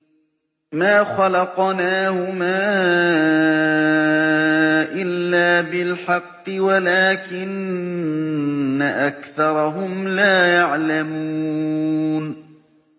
مَا خَلَقْنَاهُمَا إِلَّا بِالْحَقِّ وَلَٰكِنَّ أَكْثَرَهُمْ لَا يَعْلَمُونَ